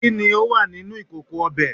kini o wa mini ikoko obe